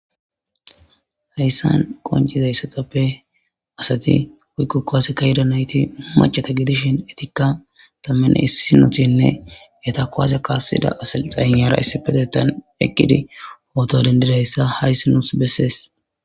Hayssan qoncizaysatappe asati woykko kuwase ka7iyeda nayti maccata gedishin etikka tammane issinotinne eta kuwasiya kaassida asalxaynera issipethetan eqqidi poto dendidassa hayssi nuus bessees.